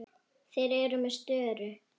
Þeir eru með störu.